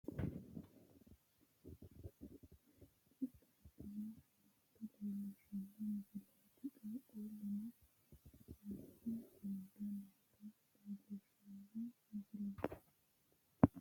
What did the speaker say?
tini misile leellishshannohu rosu mine ikkanna, rosaano rosonsa rosse higguhu gedensaanni angansa hashshidhe sagale itate qixxabbanni noota lellishshanno misileeti, qaaqqulluno salfe amade noota leellishshanno misileeti.